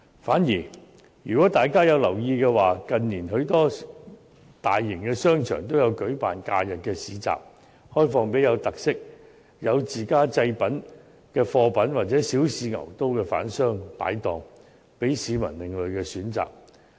反而，如果大家有留意的話，近年許多大型商場均有舉辦假日市集，開放給具特色、有自家製品或想小試牛刀的販商擺檔，向市民提供另類選擇。